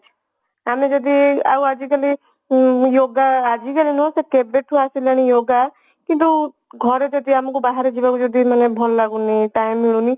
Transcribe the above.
ଆମେ ଯଦି ଆଉ ଆଜିକାଲି ହଁ yoga ଆଜିକାଲି ନୁହଁ ସେ କେବେଠୁ ଆସିଲାଣି yoga କିନ୍ତୁ ଘରେ ଯଦି ଆମକୁ ବାହାର ଯିବାକୁ ଯଦି ମାନେ ଭଲ ଲାଗୁନି କି time ମିଳୁନି